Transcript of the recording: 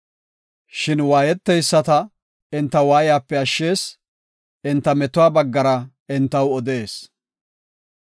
Shin waayeteyisata enta waayiyape ashshees; enta metuwa baggara entaw odees.